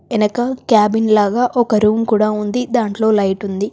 ఎనక క్యాబిన్ లాగా ఒక రూమ్ కూడా ఉంది దాంట్లో లైట్ ఉంది.